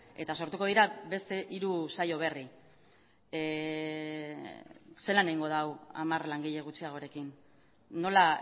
eta sortuko dira beste hiru saio berri zelan egingo da hau hamar langile gutxiagorekin nola